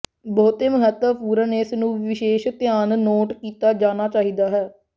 ਬਹੁਤੇ ਮਹੱਤਵਪੂਰਨ ਇਸ ਨੂੰ ਵਿਸ਼ੇਸ਼ ਧਿਆਨ ਨੋਟ ਕੀਤਾ ਜਾਣਾ ਚਾਹੀਦਾ ਹੈ